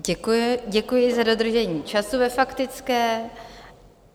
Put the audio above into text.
Děkuji za dodržení času ve faktické.